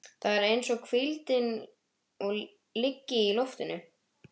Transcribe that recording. Það er eins og hvíldin liggi í loftinu.